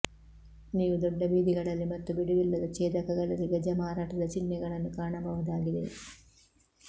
ನೀವು ದೊಡ್ಡ ಬೀದಿಗಳಲ್ಲಿ ಮತ್ತು ಬಿಡುವಿಲ್ಲದ ಛೇದಕಗಳಲ್ಲಿ ಗಜ ಮಾರಾಟದ ಚಿಹ್ನೆಗಳನ್ನು ಕಾಣಬಹುದಾಗಿದೆ